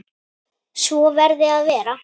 Svo verði að vera.